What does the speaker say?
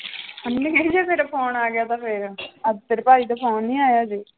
ਜੇ ਮੇਰਾ phone ਆ ਗਿਆ ਤਾਂ ਫਿਰ ਅੱਜ ਤੇਰੇ ਭਾਈ ਦਾ phone ਨੀ ਆਇਆ ਹਜੇ।